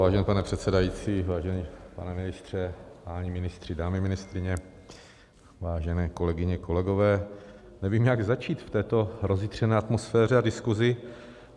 Vážený pane předsedající, vážený pane ministře, páni ministři, dámy ministryně, vážené kolegyně, kolegové, nevím, jak začít v této rozjitřené atmosféře a diskusi.